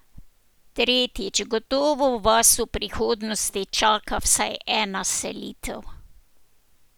Tretjič, gotovo vas v prihodnosti čaka vsaj ena selitev.